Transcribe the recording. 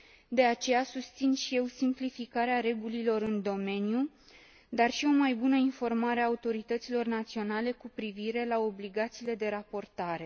De aceea, susțin și eu simplificarea regulilor în domeniu, dar și o mai bună informare a autorităților naționale cu privire la obligațiile de raportare.